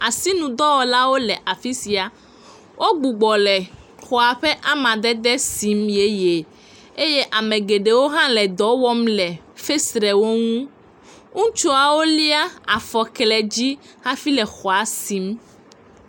Asinudɔwɔlawo le afi sia. Wogbugbe le xɔa ƒe amadede sim yeye eye ame geɖewo hã le dɔ wɔm le fesrewo ŋu. Ŋutsuawo lía afɔkledzi hafi le xɔa sim.